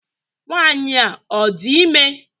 Nwanyị a ọ dị ime?